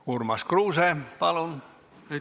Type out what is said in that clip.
Urmas Kruuse, palun!